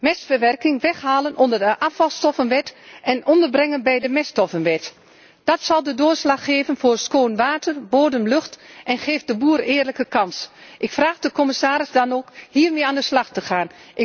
Mestverwerking weghalen uit de afvalstoffenwet en onderbrengen bij de meststoffenwet, dat zal de doorslag geven voor schoon water en dito bodem en lucht en zo krijgt de boer een eerlijke kans. Ik vraag de commissaris dan ook hiermee aan de slag te gaan.